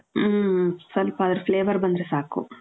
ಹ್ಮ್ ಹ್ಮ್ ಸ್ವಲ್ಪ ಅದರ್ Flavour ಬಂದ್ರೆ ಸಾಕು .